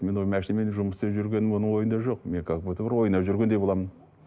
мен ол машинамен жұмыс істеп жүргенім оның ойында жоқ мен как будто бір ойнап жүргендей боламын